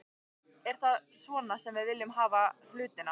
Er það svona sem við viljum hafa hlutina?